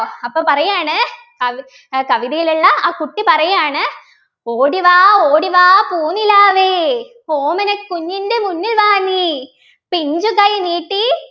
അപ്പൊ പറയാണ് കവി ഏർ കവിതയിലുള്ള ആ കുട്ടി പറയാണ് ഓടിവാ ഓടിവാ പൂനിലാവെ ഓമനക്കുഞ്ഞിൻ്റെ മുന്നിൽ വാ നീ പിഞ്ചുകൈ നീട്ടി